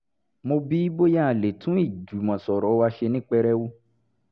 mo bi í bóyá a lè tún ìjùmọ̀sọ̀rọ̀ wa ṣe ní pẹrẹu